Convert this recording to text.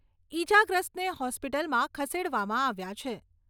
ઇજાગ્રસ્તને હોસ્પિટલમાં ખસેડવામાં આવ્યા છે.